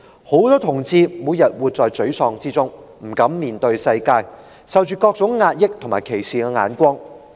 許多同志每天活在沮喪之中，不敢面對世界，更飽受壓抑和他人歧視的目光。